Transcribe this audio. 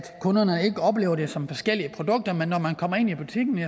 kunderne ikke oplever det som forskellige produkter når man kommer ind i butikken